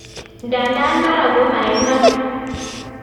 Ndadan mara ko ma iman.